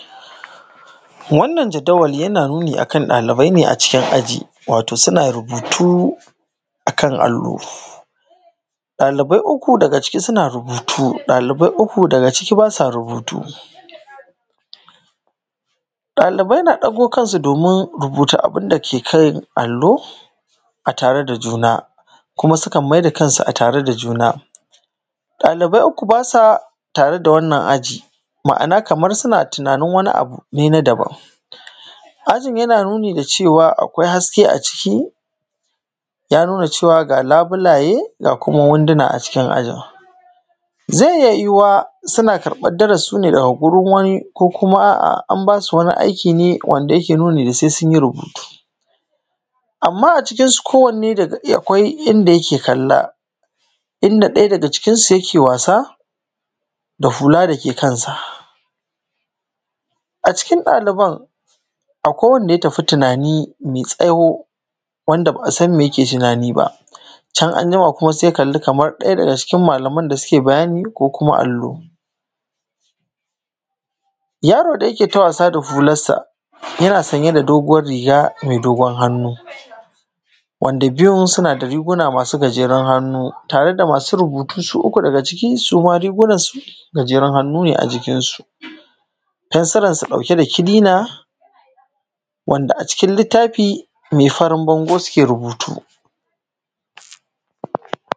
wannan jaddawali yana nuni akan ɗalibai ne a cikin aji wato suna rubutu a kan allo ɗalibai uku daga ciki suna rubutu ɗalibai uku daga ciki ba sa rubutu ɗalibai na ɗago kansu domin rubuta abin da ke kan allo a tare da juna kuma sukan mai da kansu a tare da juna ɗalibai uku ba sa tare da wannan aji maana kamar suna tunanin wani abu ne na daban aji yana nuni da cewa akwai haske a ciki ya nuna cewa ga labulaye ga kuma wunduna a cikin aji zai iya yiwuwa suna karɓan darasi ne daga gurin wani ko kuma an basu wani aiki ne wanda yake nuni da sai sun yi rubutu amma a cikin su ko wanne akwai inda yake kalla inda ɗaya daga cikin su yake wasa da hula da ke kansa a cikin ɗaliban akwai wanda ya tafi tunani mai tsaho wanda ba a san me yake tunani ba can anjima kuma sai ya kalli kamar ɗaya daga cikin malaman da suke bayani ko kuma allo yaro da yake ta wasa da hularsa yana sanye da doguwar riga mai dogon hannu wanda biyun suna da riga masu gajeran hannu tare da masu rubutu su uku daga cikin su ma rigunansu masu gajeran hannu ne jikin su fensuransu masu ɗauke da kilina wanda a cikin littafi mai farin bango suke rubutu